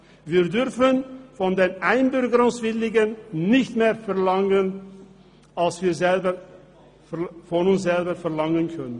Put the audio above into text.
Wir dürfen von den Einbürgerungswilligen nicht mehr verlangen, als wir von uns selber verlangen können.